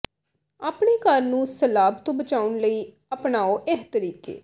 ਆਪਣੇ ਘਰ ਨੂੰ ਸਲਾਬ ਤੋਂ ਬਚਾਉਣ ਦੇ ਲਈ ਅਪਣਾਓ ਇਹ ਤਰੀਕੇ